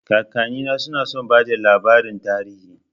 Kakannina suna son bada labarin tarihi